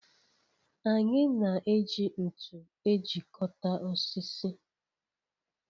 Anyị na-eji ntụ ejikọta osisi.